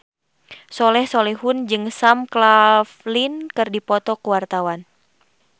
Soleh Solihun jeung Sam Claflin keur dipoto ku wartawan